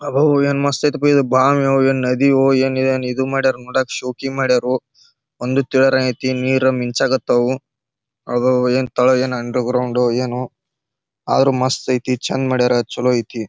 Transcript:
ಅಪ್ಪಪ್ಪೋ! ಏನ್ ಮಸ್ತ್ ಐಯ್ತ್ ಪೋ ಇದ ಬಾವಿಯೊ ಏನ್ ನದಿಯೋ ಏನ್ ಇದು ಏನ್ ಇದು ಮಾಡೊರೊ ನೋಡಾಕ್ ಶೋಕಿ ಮಾಡೊರೊ ಒಂದು ತಿಳಿರಾಯಾಯಿತಿ. ನೀರು ಮಿಂಚಕತ್ತವು ಅಬ್ಬಾಬೊ ಏನ್ ತಳ ಏನ್ ಅಂಡರ್ಗ್ರೌಂಡಾ ಏನೋ ಆದ್ರು ಮಸ್ತ್ ಐತಿ ಚಂದ್ ಮಾಡ್ಯಾರ ಚಲೋ ಐತಿ.